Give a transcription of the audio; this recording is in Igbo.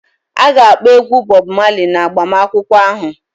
A ga-akpọ egwu Bob Marley na agbamakwụkwọ ahụ